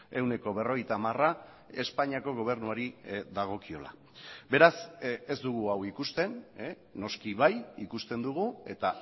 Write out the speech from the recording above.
ehuneko berrogeita hamara espainiako gobernuari dagokiola beraz ez dugu hau ikusten noski bai ikusten dugu eta